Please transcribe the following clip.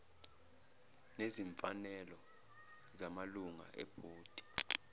nezimfanelo zamalunga ebhodi